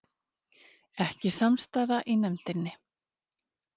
Ekki samstaða í nefndinni